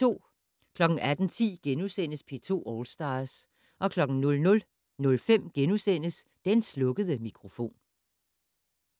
18:10: P2 All Stars * 00:05: Den slukkede mikrofon *